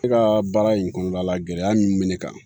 E ka baara in kɔnɔna la gɛlɛya min bɛ ne kan